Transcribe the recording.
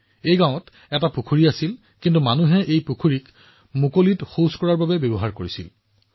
এই গাওঁখনত এটা পুখুৰী আছিল কিন্তু মানুহে এই পুখুৰীৰ স্থানটো মুকলিত শৌচ কৰাৰ বাবে ব্যৱহাৰ কৰিবলৈ আৰম্ভ কৰিছিল